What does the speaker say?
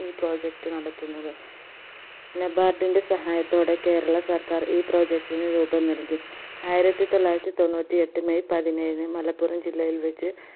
ഈ project നടത്തുന്നത് NABARD ൻറെ സഹായത്തോടെ കേരള സർക്കാർ ഈ project ന് രൂപം നൽകി ആയിരത്തി തൊള്ളായിരത്തി തൊണ്ണൂറ്റി എട്ട് മെയ് പതിനെയിന് മലപ്പുറം ജില്ലയിൽ വെച്